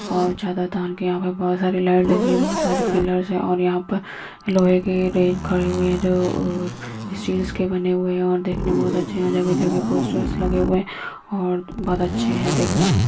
और चादर तान के यहाँ पे बहुत सारे लाइट लगी हैं बहोत सारे पिलर्स हैं और यहाँ पर लोहे की रेन खड़े हुए हैं जो स्टील्स के बने हुए हैं जो देखने में बहोत अच्छे हैं। जगह-जगह पोस्टर्स लगे हुए हैं और बहोत अच्छे हैं देखने में।